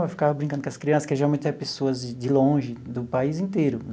Eu ficava brincando com as crianças, que geralmente é pessoas de de longe, do país inteiro.